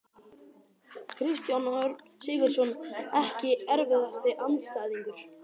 Kristján Örn Sigurðsson Ekki erfiðasti andstæðingur?